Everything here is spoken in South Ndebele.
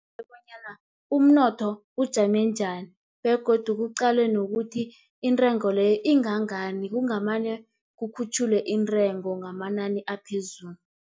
bonyana umnotho ujame njani, begodu kuqalwe nokuthi intengo leyo ingangani, kungamane kukhutjhulwe intengo ngamanani aphezulu.